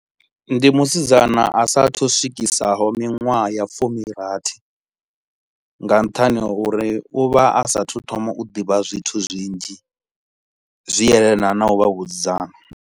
Ndi musidzana a sa a thu swikisaho minwaha ya fumi rathi nga nṱhani ha uri u vha a sa a thu thoma u ḓivha zwithu zwinzhi zwi yelanaho na u vha vhusidzana